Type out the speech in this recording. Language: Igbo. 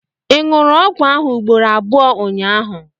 ị ṅụrụ ọgwụ ahụ ugboro abụọ ụnyaahụ?